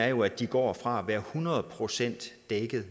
jo at de går fra at være hundrede procent dækket